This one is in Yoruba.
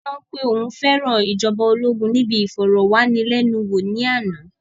Bàbá yẹn sọ pé òun fẹ́ràn ìjọba ológun níbi ìfọ̀rọ̀wánilénuwò ní àná